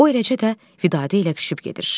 O eləcə də Vidadə ilə pişıb gedir.